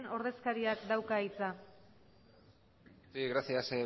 ordezkariak dauka hitza sí gracias